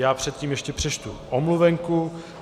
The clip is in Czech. Já předtím ještě přečtu omluvenku.